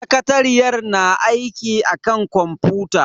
Sakatariyar na aiki akan kwamfuta.